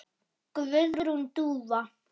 Guðrún Dúfa.